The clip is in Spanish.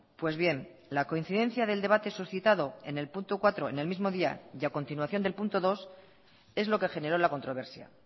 pues bien la coincidencia del debate suscitado en el punto cuatro en el mismo día y a continuación del punto dos es lo que generó la controversia